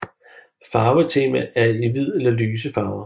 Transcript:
Farvetema er i hvid eller lyse farver